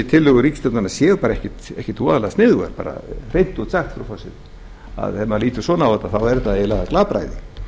þessar tillögur ríkisstjórnarinnar séu ekkert voðalega sniðugar hreint út sagt frú forseti þegar maður lítur svona á þetta er þetta hreinlega glapræði